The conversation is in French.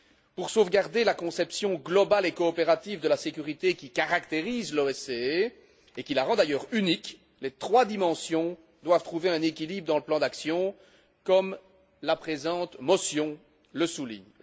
Pour sauvegarder la conception globale et coopérative de la sécurité qui caractérise l'OSCE et qui la rend d'ailleurs unique, les trois dimensions doivent trouver un équilibre dans le plan d'action comme la présente motion le souligne.